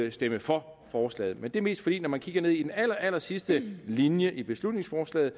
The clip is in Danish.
at stemme for forslaget men det er mest fordi man når man kigger ned i den allerallersidste linje i beslutningsforslaget